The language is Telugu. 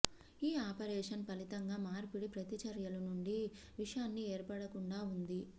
ఈ ఆపరేషన్ ఫలితంగా మార్పిడి ప్రతిచర్యలు నుండి విషాన్ని ఏర్పడకుండా ఉంది